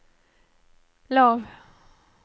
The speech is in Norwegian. lav